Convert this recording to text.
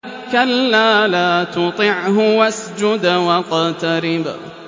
كَلَّا لَا تُطِعْهُ وَاسْجُدْ وَاقْتَرِب ۩